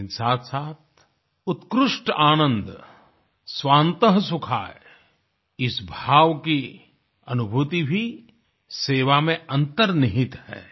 लेकिन साथसाथ उत्कृष्ट आनंद स्वान्त सुखायः इस भाव की अनुभूति भी सेवा में अन्तर्निहित है